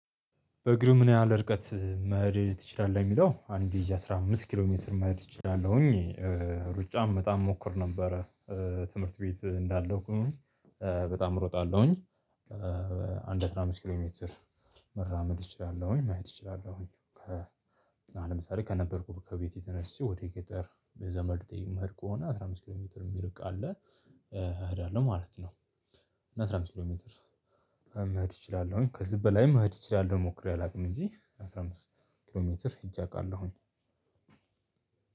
እግርህ ምን ያህል ርቀት መሄድ ትችላለህ የሚለው አንድ ይዤ አስራ አምስት ኪሎ ሜትር መሄድ እችላለሁኝ ሩጫም በጣም እሞክር ነበረ። ትምህርት ቤት እንዳለው በጣም እሮጣለሁኝ። አንድ አስራ አምስት ኪሎ ሜትር መራመድ እችላለሁኝ መሄድ እችላለሁኝ። አሁን ለምሳሌ ከነበርኩበት ከቤቴ ተነስቼ ወደ ገጠር የዘመድ የምሄድ ከሆነ አስራ አምስት ኪሎ ሜትር የሚርቅ አለ አሄዳለሁ ማለት ነው። አስራ አምስት ኪሎ ሜትር መሄድ እችላለሁኝ ከዚህ በላይም መሄድ እችላለሁኝ ሞክሬ አላውቅም እንጂ አስራ አምስት ኪሎ ሜትር ሂጄ አውቃለሁኝ።